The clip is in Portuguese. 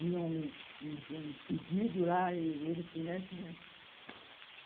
Vinha um um pedido lá e eles tinham.